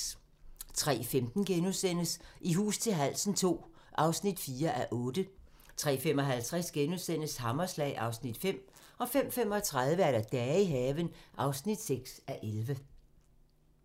03:15: I hus til halsen II (4:8)* 03:55: Hammerslag (Afs. 5)* 05:35: Dage i haven (6:11)